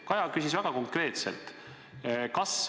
Kaja küsis väga konkreetselt.